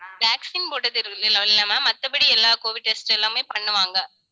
vaccine போட்டது இல்ல ma'am மத்தபடி எல்லா covid test எல்லாமே பண்ணுவாங்க